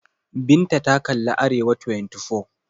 Binta ta kalli Arewa24.